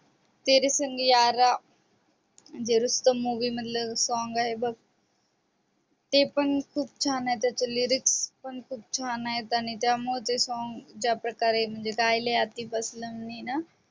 तेरे संग यारा ते रूसतम movie मधल song आहे बघ ते पण खूप छान आहे त्याच lyric पण खूप छान आहे आणि त्या मुळे त्याला ते song ज्या प्रकारे गायले आतिफ अस्लम ने ना